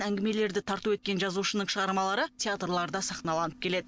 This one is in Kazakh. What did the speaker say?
әңгімелерді тарту еткен жазушының шығармалары театрларда сахналанып келеді